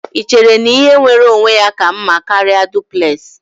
Ị chere na ihe nwere onwe ya ka mma karịa duplex?